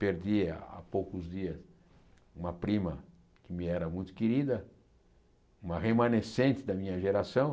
Perdi há poucos dias uma prima que me era muito querida, uma remanescente da minha geração.